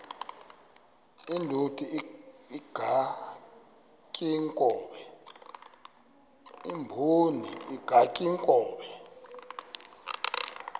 indod ingaty iinkobe